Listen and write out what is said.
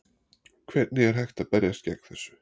Hvernig er hægt að berjast gegn þessu?